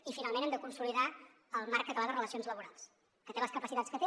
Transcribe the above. i finalment hem de consolidar el marc català de relacions laborals que té les capacitats que té